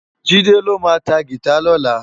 Jide lô ma tá gitá lòlá